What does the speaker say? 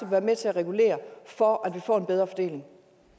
være med til at regulere for at vi får en bedre fordeling